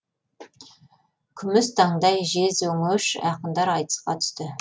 күміс таңдай жез өңеш ақындар айтысқа түсті